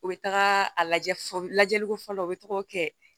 U bɛ taga a lajɛ lajɛliko fɔlɔ u bɛ taga o kɛ